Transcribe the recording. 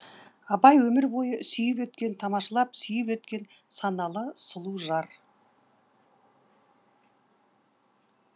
абай өмір бойы сүйіп өткен тамашалап сүйіп өткен саналы сұлу жар